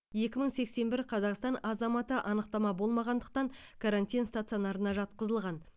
екі мың сексен бір қазақстан азаматы анықтама болмағандықтан карантин стационарына жатқызылған